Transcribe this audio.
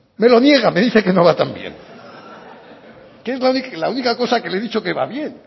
me lo niega me dice que no va tan bien que es la única cosa que le he dicho que va bien